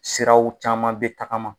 Siraw caman bɛ tagama.